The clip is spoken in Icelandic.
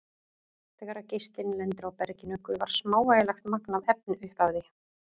Þegar geislinn lendir á berginu gufar smávægilegt magn af efni upp af því.